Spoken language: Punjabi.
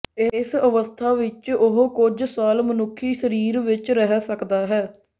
ਇਸ ਅਵਸਥਾ ਵਿਚ ਉਹ ਕੁਝ ਸਾਲ ਮਨੁੱਖੀ ਸਰੀਰ ਵਿੱਚ ਰਹਿ ਸਕਦਾ ਹੈ